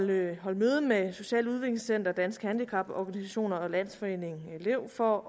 vil jeg holde møde med socialt udviklingscenter danske handicaporganisationer og landsforeningen lev for